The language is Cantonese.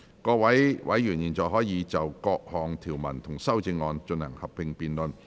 各位委員現在可以就各項條文及修正案，進行合併辯論。